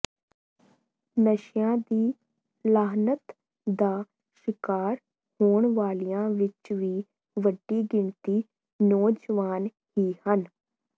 ਨਸ਼ਿਆਂ ਦੀ ਲਾਹਨਤ ਦਾ ਸ਼ਿਕਾਰ ਹੋਣ ਵਾਲਿਆਂ ਵਿੱਚ ਵੀ ਵੱਡੀ ਗਿਣਤੀ ਨੌਜਵਾਨ ਹੀ ਹਨ